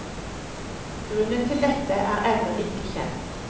Grunnen til dette er ennå ikke kjent.